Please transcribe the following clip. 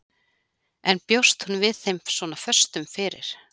En bjóst hún við þeim svona föstum fyrir?